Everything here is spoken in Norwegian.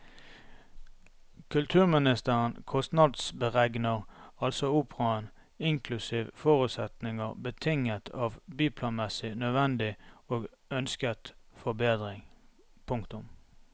Kulturministeren kostnadsberegner altså operaen inklusive forutsetninger betinget av byplanmessig nødvendig og ønsket forbedring. punktum